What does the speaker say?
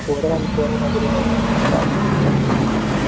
ஒரு ஆள் போற மாதிரி